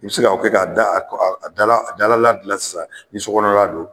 I bɛ se ka o kɛ k'a dalala dilan sisan ni sokɔnɔ la don.